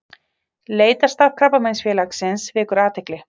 Leitarstarf Krabbameinsfélagsins vekur athygli